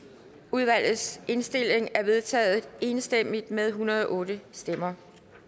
udvalgets indstilling er vedtaget enstemmigt med en hundrede og otte stemmer